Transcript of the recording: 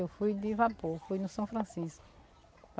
Eu fui de vapor, fui no São Francisco.